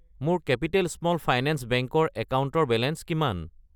মোৰ capital small finance bank ৰ একাউণ্টৰ বেলেঞ্চ কিমান?